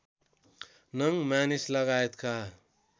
नङ मानिस लगायतका